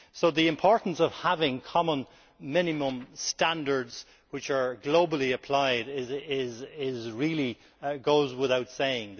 The importance of having common minimum standards which are globally applied really goes without saying.